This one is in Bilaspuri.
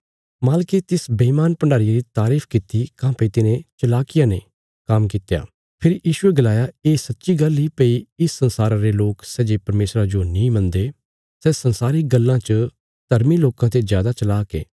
मालके तिस बेईमान भण्डारीये री तारीफ किति काँह्भई तिने चलाकिया ने काम्म कित्त्या फेरी यीशुये गलाया ये सच्ची गल्ल इ भई इस संसारा रे लोक सै जे परमेशरा जो नीं मनदे सै संसारिक गल्लां च धर्मी लोकां ते जादा चलाक ये